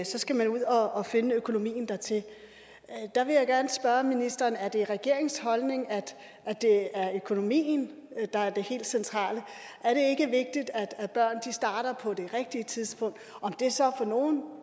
så skal man ud og finde økonomien dertil der vil jeg gerne spørge ministeren er det regeringens holdning at det er økonomien der er det helt centrale er det ikke vigtigt at børn starter på det rigtige tidspunkt om det så for nogle